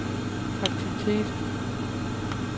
aktivitet